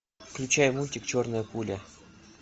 включай мультик черная пуля